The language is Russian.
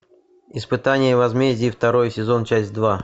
испытание и возмездие второй сезон часть два